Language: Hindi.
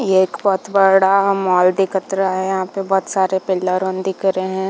ये एक बहुत बड़ा मोल दिखत रहा है यहाँ पे बहुत सारे पिलर रुन दिख रहै है।